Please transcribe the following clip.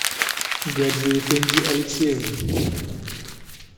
гаджиэфенди алексеевна